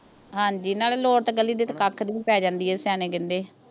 ਹਾਂਜੀ ਨਾਲੇ ਲੋੜ ਤੇ ਗਲੀ ਦੇ ਤੇ ਕੱਖ ਦੀ ਪੈ ਜਾਂਦੀ ਏ ਸਿਆਣੇ ਕਹਿੰਦੇ